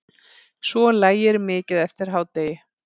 Svo lægir mikið eftir hádegi.